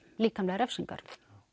líkamlegar refsingar